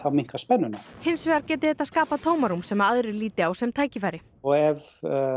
minnka spennuna hins vegar geti þetta skapað tómarúm sem aðrir líti á sem tækifæri ef